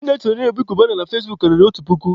Ndị na-esonyere Obi Kubana na fezbuk karịrị otu puku.